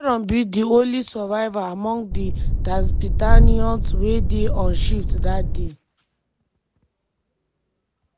sharon be di only survivor among di tatzpitaniyot wey dey on shift dat day.